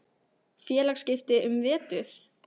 Félagsskipti um vetur?